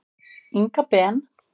Inga Ben.